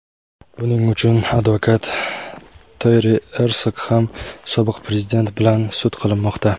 Buning uchun advokat Teri Ersog ham sobiq Prezident bilan sud qilinmoqda.